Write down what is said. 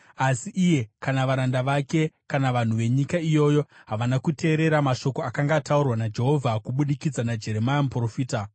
Asi iye kana varanda vake kana vanhu venyika iyoyo, havana kuteerera mashoko akanga ataurwa naJehovha kubudikidza naJeremia muprofita.